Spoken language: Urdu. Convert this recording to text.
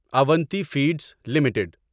Avanti feeds limited